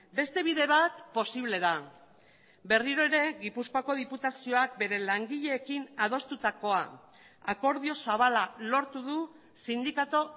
beste bide bat posible da berriro ere gipuzkoako diputazioak bere langileekin adostutakoa akordio zabala lortu du sindikatu